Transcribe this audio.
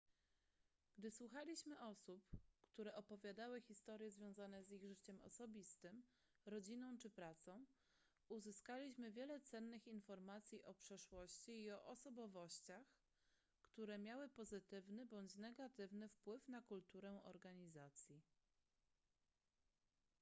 gdy słuchaliśmy osób które opowiadały historie związane z ich życiem osobistym rodziną czy pracą uzyskaliśmy wiele cennych informacji o przeszłości i o osobowościach które miały pozytywny bądź negatywny wpływ na kulturę organizacji